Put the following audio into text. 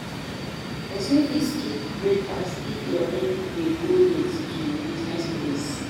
Persin fit skip breakfast if e already de go late to im buisiness place